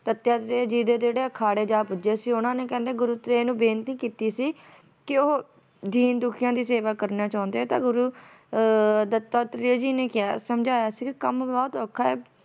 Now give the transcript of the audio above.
ਜੀ ਦੇ ਅਖਾੜੇ ਜਾ ਪੁੱਜੇ ਸੀ ਉਹਨਾਂ ਨੇ ਕਹਿੰਦੇ ਗੁਰੂ ਜੀ ਨੂੰ ਬੇਨਤੀ ਕੀਤੀ ਸੀ ਕੇ ਉਹ ਦੀਨ ਦੁਖੀਆਂ ਦੀ ਸੇਵਾ ਕਰਨਾ ਚਾਹੁੰਦੇ ਆ ਤਾਂ ਗੁਰੂ ਅਹ ਦੱਤਾਤਰੇ ਜੀ ਨੇ ਕਿਹਾ ਸਮਝਾਇਆ ਸੀ ਕੇ ਕੰਮ ਬਹੁਤ ਔਖਾ